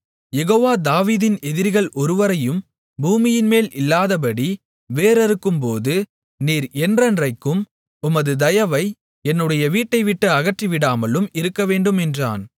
யெகோவா தாவீதின் எதிரிகள் ஒருவரையும் பூமியின்மேல் இல்லாதபடி வேர் அறுக்கும்போதும் நீர் என்றென்றைக்கும் உமது தயவை என்னுடைய வீட்டைவிட்டு அகற்றிவிடாமலும் இருக்கவேண்டும் என்றான்